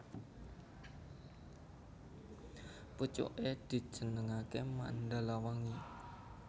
Pucuké dijenengaké Mandalawangi